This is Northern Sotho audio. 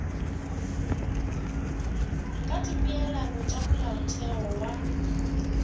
ka dipeelano tša molaotheo wa